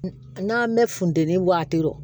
N'an mɛ funteni waati